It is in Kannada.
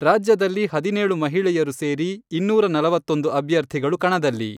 ರಾಜ್ಯದಲ್ಲಿ ಹದಿನೇಳು ಮಹಿಳೆಯರು ಸೇರಿ ಇನ್ನೂರ ನಲವತ್ತೊಂದು ಅಭ್ಯರ್ಥಿಗಳು ಕಣದಲ್ಲಿ.